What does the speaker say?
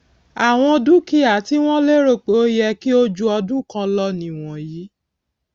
àwọn dúkìá tí wón lérò pé ó yẹ kí o ju ọdún kán lọ nì wọnyí